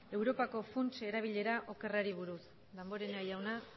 europako funtsen erabilera okerrari buruz damborenea jauna